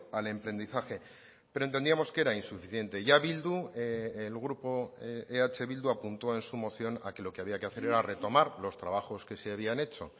al emprendizaje pero entendíamos que era insuficiente ya bildu el grupo eh bildu apuntó en su moción a que lo que había que hacer era retomar los trabajos que se habían hecho